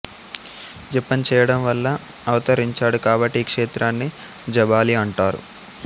జపం చేయడం వల్ల అవతరించాడు కాబట్టి ఈ క్షేత్రాన్ని జాబాలి అంటారు